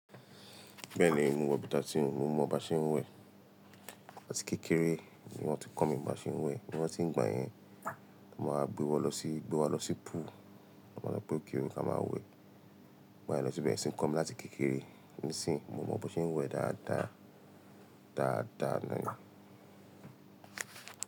Bẹ́ẹ̀ni mo mọ beta tí n òun, mo mọ baṣé ń wẹ̀. Láti kékeré níwọ́n tí n kọ́ mi baṣé ń wẹ̀. Níwọ́n tí ń gbà yẹn, mo máa gbé wá lọ sí, gbé wá lọ sí pool, mo máa lọ pé òkèrè ká máa wẹ̀. Igba yẹn lọ síbẹ̀ tí ń kọ́ mi láti kékeré. Nísìí mo mọ baṣé ń wẹ̀ dáadáa, dáadáa nánì.